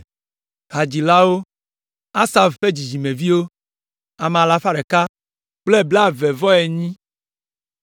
Hadzilawo: Asaf ƒe dzidzimeviwo, ame alafa ɖeka kple blaeve-vɔ-enyi (148).